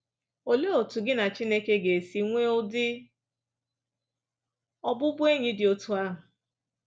Olee otu gị na Chineke ga esi nwee ụdị ọbụbụenyị dị otú ahụ?